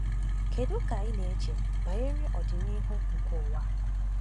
Kedu ka ị na-eche banyere ọdịnihu nke ụwa a?